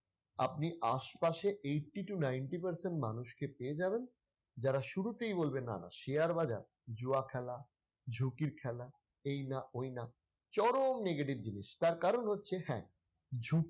আপনি আশপাশে eighty to ninety percent মানুষকে পেয়ে যাবেন যারা শুরুতেই বলবে না না share বাজার জুয়া খেলা ঝুঁকির খেলা এইনা ঐনা চরম negative জিনিস তার কারণ হচ্ছে হ্যাঁ ঝুঁকি